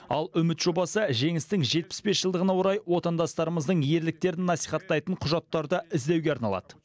ал үміт жобасы жеңістің жетпіс бес жылдығына орай отандастарымыздың ерліктерін насихаттайтын құжаттарды іздеуге арналады